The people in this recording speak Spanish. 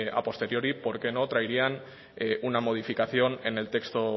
a posteriori por qué no traerían una modificación en el texto